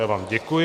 Já vám děkuji.